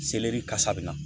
Seleri kasa bɛ na